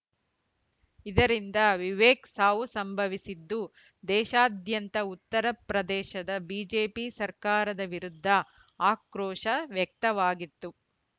ಇದರಿಂದ ವಿವೇಕ್‌ ಸಾವು ಸಂಭವಿಸಿದ್ದು ದೇಶಾದ್ಯಂತ ಉತ್ತರ ಪ್ರದೇಶದ ಬಿಜೆಪಿ ಸರ್ಕಾರದ ವಿರುದ್ಧ ಆಕ್ರೋಶ ವ್ಯಕ್ತವಾಗಿತ್ತು